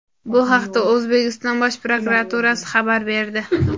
Bu haqda O‘zbekiston Bosh prokuraturasi xabar berdi .